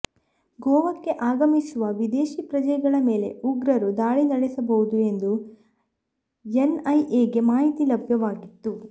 ಗೋವಾಕ್ಕೆ ಆಗಮಿಸುವ ವಿದೇಶಿ ಪ್ರಜೆಗಳ ಮೇಲೆ ಉಗ್ರರು ದಾಳಿ ನಡೆಸಬಹುದು ಎಂದು ಎನ್ಐಎಗೆ ಮಾಹಿತಿ ಲಭ್ಯವಾಗಿತ್ತು